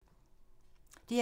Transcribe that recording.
DR2